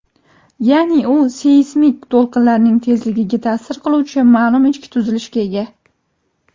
ya’ni u seysmik to‘lqinlarning tezligiga ta’sir qiluvchi ma’lum ichki tuzilishga ega.